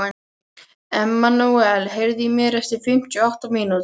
Emmanúel, heyrðu í mér eftir fimmtíu og átta mínútur.